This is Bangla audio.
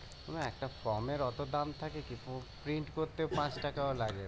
না একটা ফরমের অত দাম থাকে কি প্রিন্ট করতে পাঁচ টাকা ও লাগে না